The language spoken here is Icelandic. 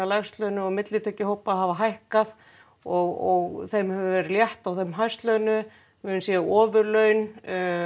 lægst launuðu og millitekjuhópa hafa hækkað og þeim hefur verið létt á þeim hæst launuðu við höfum séð ofurlaun